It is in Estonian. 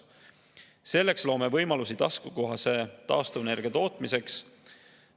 Selleks loome taskukohase taastuvenergia tootmise võimalusi.